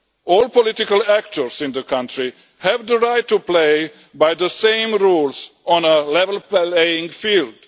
All political actors in the country have the right to play by the same rules on a level playing field.